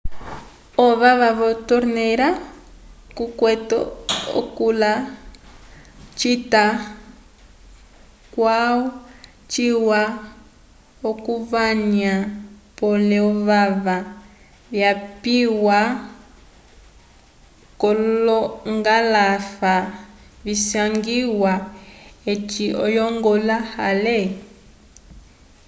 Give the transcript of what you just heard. ovava vo torneira tukwete kula cita calwa ciwa okuvanywa pole ovava vyakapiwa k'olongalafa visangiwa eci oyongola ale